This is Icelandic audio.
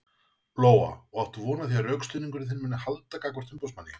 Lóa: Og áttu von á því að rökstuðningur þinn muni halda gagnvart umboðsmanni?